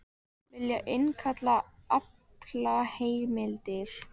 Vilja innkalla aflaheimildir